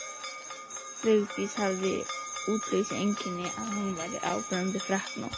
Vigdís hafði það útlitseinkenni að hún var áberandi freknótt.